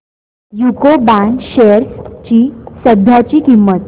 UCO bank shares ची सध्याची किंमत